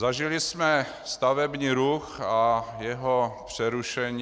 Zažili jsme stavební ruch a jeho přerušení.